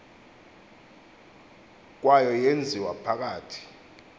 kwayo yenziwa phakathi